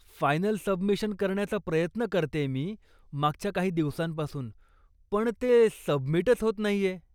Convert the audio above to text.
Final submission करण्याचा प्रयत्न करतेय मी मागच्या काही दिवसांपासून, पण ते सबमिटच होत नाहीये.